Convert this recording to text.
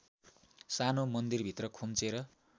सानो मन्दिरभित्र खुम्चेर